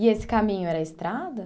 E esse caminho era estrada?